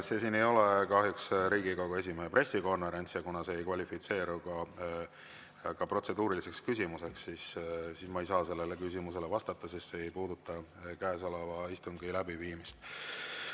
See siin ei ole kahjuks Riigikogu esimehe pressikonverents ja kuna see ei kvalifitseeru ka protseduuriliseks küsimuseks, siis ma ei saa sellele küsimusele vastata, sest see ei puuduta käesoleva istungi läbiviimist.